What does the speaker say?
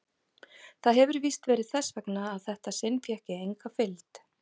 Það hefir víst verið þess vegna að þetta sinn fékk ég enga fylgd.